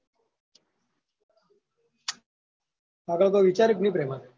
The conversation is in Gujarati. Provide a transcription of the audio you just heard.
આગળ કોય વિચાર્યું ક નઈ પ્રેમા?